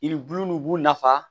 Yiribulu nunnu b'u nafa